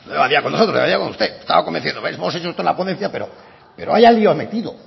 no estaba con nosotros estaba con usted estaba convenciéndole pero hemos hecho toda la ponencia pero vaya lio ha metido